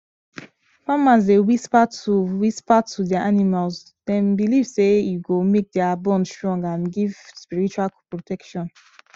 farmers dey whisper to whisper to their animals them believe say e go make their bond strong and give spiritual protection